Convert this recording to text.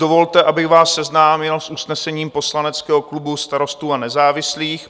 Dovolte, abych vás seznámil s usnesením poslaneckého klubu Starostů a nezávislých.